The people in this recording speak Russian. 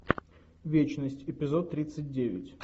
вечность эпизод тридцать девять